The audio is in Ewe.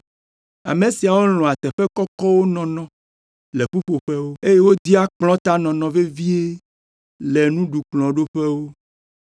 Ame siawo lɔ̃a teƒe kɔkɔwo nɔnɔ le ƒuƒoƒewo, eye wodia kplɔ̃tanɔnɔ vevie le nuɖukplɔ̃ɖoƒewo.